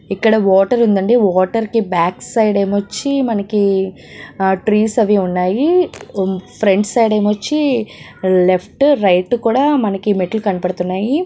ఇక్కడ వాటర్ ఉందండి వాటర్ కి బ్యాక్ సైడ్ ఏమొచ్చి మనకి ఆ ట్రీస్ అవి ఉన్నాయి ఫ్రంట్ సైడ్ ఏమోచ్చి లెఫ్ట్ రైట్ కూడా మనకి మెట్లు కనబడుతున్నాయి.